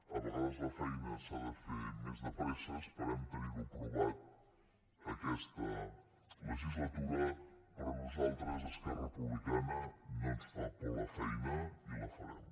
a vegades la feina s’ha de fer més de pressa esperem tenir ho aprovat aquesta legislatura però a nosaltres a esquerra republicana no ens fa por la feina i la farem